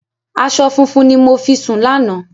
Aṣọ funfun ni mo fi sùn lánàá.